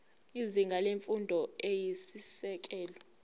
izinga lemfundo eyisisekelo